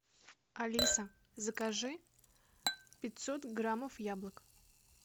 алиса закажи пятьсот граммов яблок